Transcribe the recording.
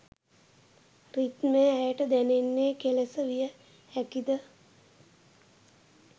රිද්මය ඇයට දැනෙන්නේ කෙලෙස විය හැකිද?